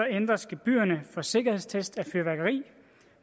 ændres gebyrerne for sikkerhedstest af fyrværkeri